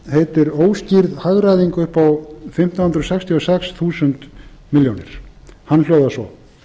heitir óskýrð hagræðing á fimmtán hundruð sextíu og sex þúsund milljónir hann hljóðar svo